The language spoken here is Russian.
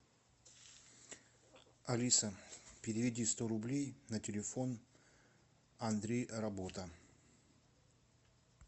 алиса переведи сто рублей на телефон андрей работа